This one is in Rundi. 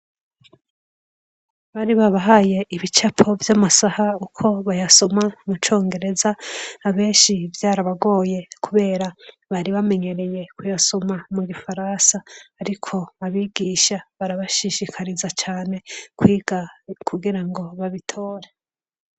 Bari babahaye ibicapo vy'amasaha uko bayasoma mucongereza, abenshi vyarabagoye kubera bari bamenyereye kuyasoma mu gifaransa, ariko abigisha barabashishikariza cane kwiga kugira ngo babitore.